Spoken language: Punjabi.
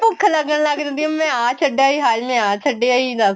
ਭੁੱਖ ਲੱਗਣ ਲੱਗ ਜਾਂਦੀ ਏ ਮੈਂ ਆ ਛੱਡੇ ਆਈ ਹਾਏ ਮੈਂ ਆ ਛੱਡੇ ਆਈ ਦੱਸ